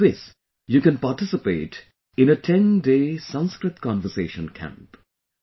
In this you can participate in a 10 day 'Sanskrit Conversation Camp'